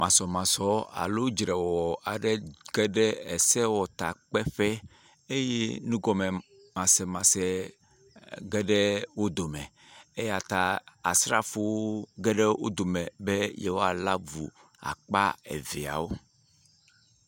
Masɔmasɔ alo dzrewɔwɔ aɖe ge ɖe esewɔtakpeƒe eye nugɔme masemase ge ɖe wo dome eya ta asrafowo ge ɖe wo dome be yewoalé avu akpa eveawo.